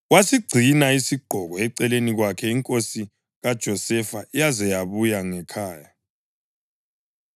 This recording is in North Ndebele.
Wasigcina isigqoko eceleni kwakhe inkosi kaJosefa yaze yabuya ngekhaya.